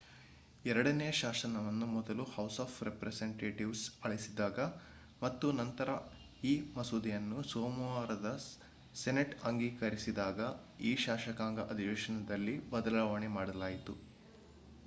ಎರಡನೆಯ ಶಾಸನವನ್ನು ಮೊದಲು ಹೌಸ್ ಆಫ್ ರೆಪ್ರೆಸೆಂಟೇಟಿವ್ಸ್ ಅಳಿಸಿದಾಗ ಮತ್ತು ನಂತರ ಈ ಮಸೂದೆಯನ್ನು ಸೋಮವಾರದ ಸೆನೆಟ್ ಅಂಗೀಕರಿಸಿದಾಗ ಈ ಶಾಸಕಾಂಗ ಅಧಿವೇಶನದಲ್ಲಿ ಬದಲಾವಣೆ ಮಾಡಲಾಯಿತು